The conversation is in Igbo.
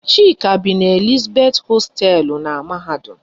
Chika bi n'Elizabeth hosteelu n'mahadum